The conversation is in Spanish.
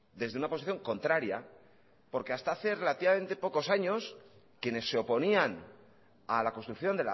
desde una posición contraria porque hasta hacer relativamente pocos años quienes se oponían a la construcción